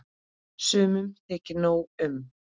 Sumum þykir nóg um.